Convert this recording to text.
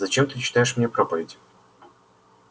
зачем ты читаешь мне проповеди